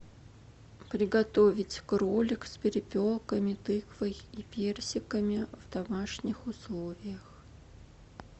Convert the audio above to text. приготовить кролик с перепелками тыквой и персиками в домашних условиях